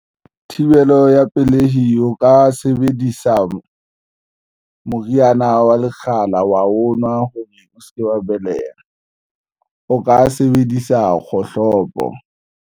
Thibelo ya pelehi o ka sebedisa moriana wa lekgala wa o nwa o se ke wa beleha o ka sebedisa kgohlopo.